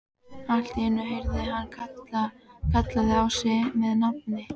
Allt í einu heyrði hann kallað á sig með nafni.